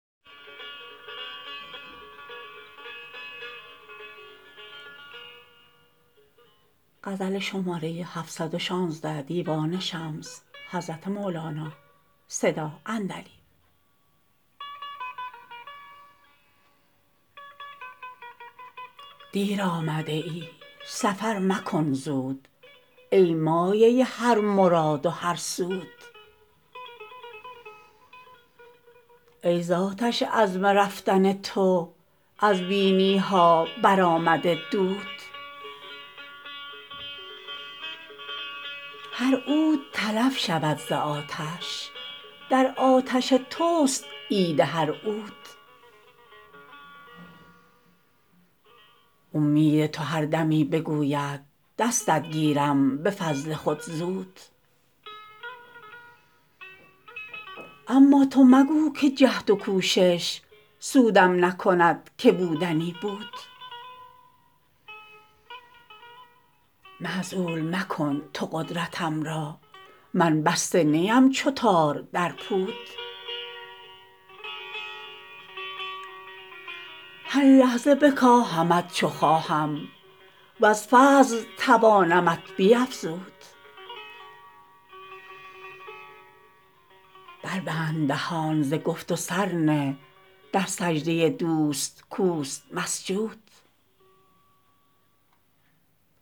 دیر آمده ای سفر مکن زود ای مایه هر مراد و هر سود ای ز آتش عزم رفتن تو از بینی ها برآمده دود هر عود تلف شود ز آتش در آتش توست عید هر عود اومید تو هر دمی بگوید دستت گیرم به فضل خود زود اما تو مگو که جهد و کوشش سودم نکند که بودنی بود معزول مکن تو قدرتم را من بسته نیم چو تار در پود هر لحظه بکاهمت چو خواهم وز فضل توانمت بیفزود بربند دهان ز گفت و سر نه در سجده دوست کوست مسجود